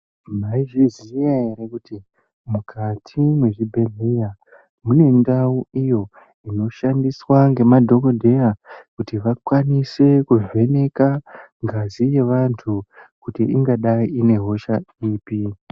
Maizviziva here mukati mezvibhehlera mune ndau inoshandiswa nemadhokodheya kuti vakwanise kuvheneka ngazi yevanhu kuti ingadayi ine hosha ipi